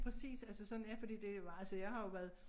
Præcis altså sådan ja fordi det var altså jeg har jo været